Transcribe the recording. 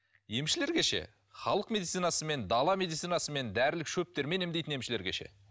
емшілерге ше халық медицинасымен дала медицинасымен дәрілік шөптермен емдейтін емшілерге ше